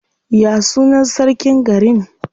Ya sunan sarkin garin?